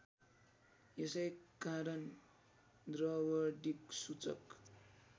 यसै कारण द्रवदिक्सूचक